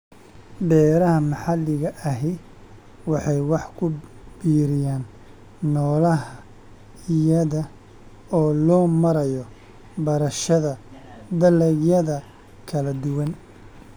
Beeraha maxalliga ahi waxay wax ku biiriyaan noolaha iyada oo loo marayo beerashada dalagyada kala duwan.